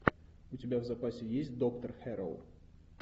у тебя в запасе есть доктор хэрроу